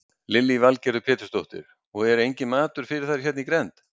Lillý Valgerður Pétursdóttir: Og er enginn matur fyrir þær hérna í grennd?